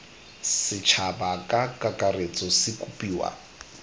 setšhaba ka kakaretso se kopiwa